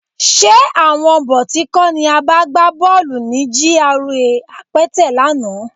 Ṣé àwọn bọ̀tí kọ́ ni a bá gbá bọ́ọ̀lù ní GRA Apẹtẹ lánàá?